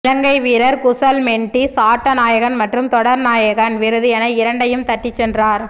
இலங்கை வீரர் குசல் மெண்டீஸ் ஆட்ட நாயகன் மற்றும் தொடர் நாயகன் விருது என இரண்டையும் தட்டி சென்றார்